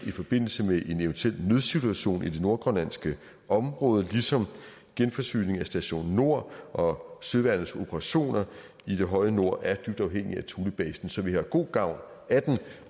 i forbindelse med en eventuel nødsituation i det nordgrønlandske område ligesom genforsyning af station nord og søværnets operationer i det høje nord er dybt afhængige af thulebasen så vi har god gavn af den